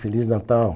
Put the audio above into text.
Feliz Natal.